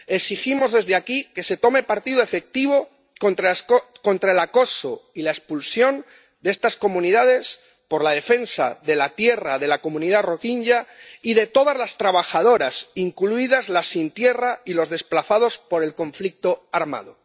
Exigimos desde aquí que se tome partido efectivo contra el acoso y la expulsión de estas comunidades, por la defensa de la tierra de la comunidad rohinyá y de todas las trabajadoras, incluidas las sin tierra y los desplazados por el conflicto armado.